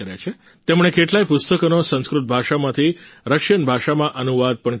તેમણે કેટલાય પુસ્તકોનો સંસ્કૃત ભાષામાંથી રશિયન ભાષામાં અનુવાદ પણ કર્યો છે